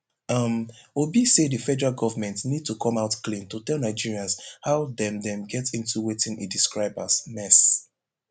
um obi say di federal govment need to come out clean to tell nigerians how dem dem get into wetin e describe as mess